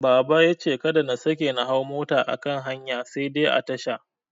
Baba yace kada na sake na hau mota a kan hanya sai dai a tasha.